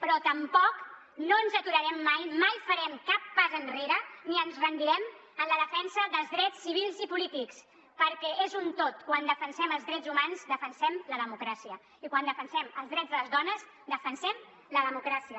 però tampoc no ens aturarem mai mai farem cap pas enrere ni ens rendirem en la defensa dels drets civils i polítics perquè és un tot quan defensem els drets humans defensem la democràcia i quan defensem els drets de les dones defensem la democràcia